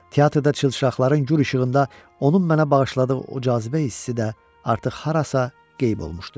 Teatrda çılçaqların gur işığında onun mənə bağışladığı o cazibə hissi də artıq harasa qeyb olmuşdu.